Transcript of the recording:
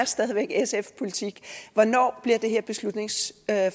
stadig væk er sfs politik hvornår bliver det her beslutningsforslag